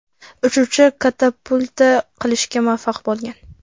Uchuvchi katapulta qilishga muvaffaq bo‘lgan.